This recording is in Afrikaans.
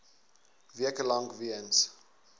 weke lank weens